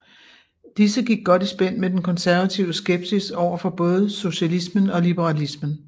Disse gik godt i spænd med den konservative skepsis overfor både socialismen og liberalismen